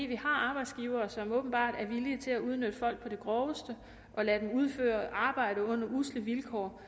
vi har arbejdsgivere som åbenbart er villige til at udnytte folk på det groveste og lade dem udføre arbejde under usle vilkår